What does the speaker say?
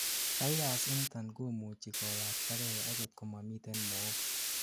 virus initon komuchi koyaktagei agot komamiten mook